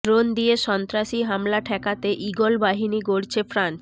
drone দিয়ে সন্ত্রাসী হামলা ঠেকাতে ঈগল বাহিনী গড়ছে ফ্রান্স